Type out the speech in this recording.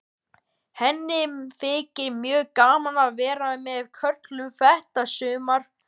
Vinnustofan mín er orðin hrein og fín fyrir löngu.